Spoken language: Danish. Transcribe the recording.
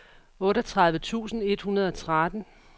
otteogtredive tusind et hundrede og tretten